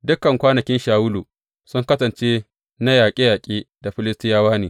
Dukan kwanakin Shawulu sun kasance na yaƙe yaƙe da Filistiyawa ne.